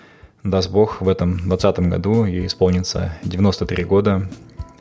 даст бог в этом двадцатом году ей исполнится девяносто три года